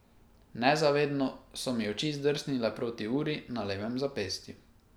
Nezavedno so mi oči zdrsnile proti uri na levem zapestju.